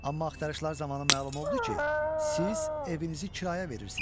Amma axtarışlar zamanı məlum oldu ki, siz evinizi kirayə verirsiniz.